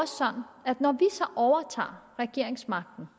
så overtager regeringsmagten